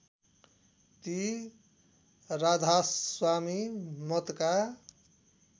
ती राधास्वामी मतका